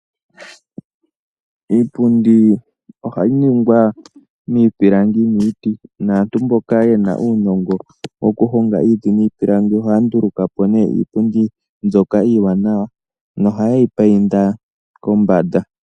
Iipundi ohayi ningwa miipilangi niiti, naantu mboka yena uunongo oku honga iiti niipilangi ohaya ndulukapo ne iipundi mbyoka iiwanawa nohaye yi painda kombanda.